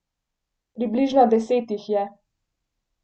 Približno deset jih je.